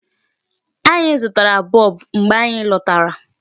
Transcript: Anyi zụtara bulb mgbe anyị lọtara.